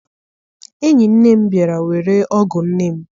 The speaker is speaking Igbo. Enyi nne m bịara were ọgụ nne m.